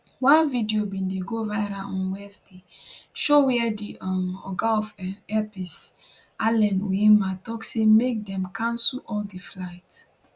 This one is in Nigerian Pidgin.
one video wey bin go viral on wednesday show wia di um oga of um airpeace allen onyema tok say make dem cancel all di flights